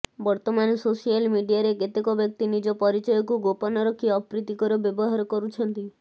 ବର୍ତ୍ତମାନ ସୋସିଆଲ ମିଡିଆରେ କେତେକ ବ୍ୟକ୍ତି ନିଜ ପରିଚୟକୁ ଗୋପନ ରଖି ଅପ୍ରୀତିକର ବ୍ୟବହାର କରୁଛନ୍ତି